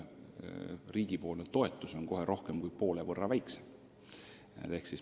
Riigi toetus on märksa väiksem.